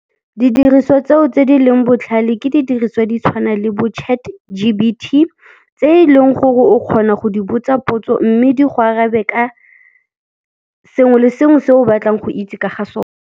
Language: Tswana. Didiriswa tseo tse di leng botlhale ke didiriswa di tshwana le bo Chat G_P_T, tse eleng gore o kgona go di botsa potso mme di go arabe ka sengwe le sengwe se o batlang go itse ka ga .